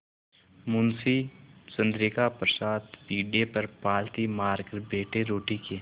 मुंशी चंद्रिका प्रसाद पीढ़े पर पालथी मारकर बैठे रोटी के